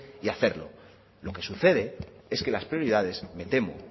y hacerlo lo que sucede es que las prioridades me temo